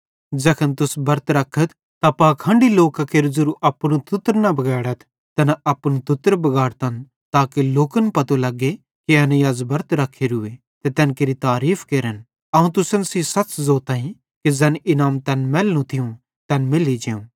ज़ैखन तुस बरत रखत त पाखंडी लोकां केरू ज़ेरू अपनू तुत्तर न बगैड़थ तैना अपनू तुत्तर बिगाड़तन ताके लोकन पतो लग्गे कि एनेईं अज़ बरत रख्खोरूए ते तैन केरि तारीफ़ केरन अवं तुसन सेइं सच़ ज़ोताईं कि ज़ैन इनाम तैन मैलनू थियूं तैन मैल्ली जेव